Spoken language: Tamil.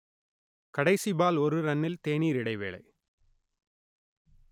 கடைசி பால் ஒரு ரன்னில் தேனீர் இடைவேளை